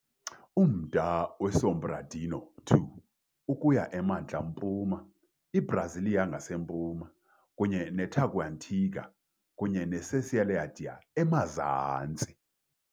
Umda weSobradinho II ukuya emantla mpuma, iBrasília ngasempuma, kunye neTaguatinga kunye neCeilândia emazantsi.